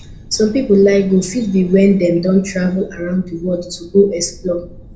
some pipo life goal fit be when dem don travel round di world to go explore